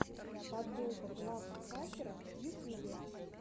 подборка глав хакера в ютьюбе